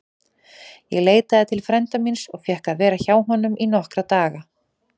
Ég leitaði til frænda míns og fékk að vera hjá honum í nokkra daga.